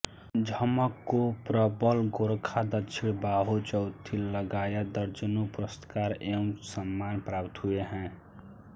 झमक को प्रबल गोरखा दक्षिण बाहु चौथी लगायत दर्जनों पुरस्कार एवं सम्मान प्राप्त हुए हैं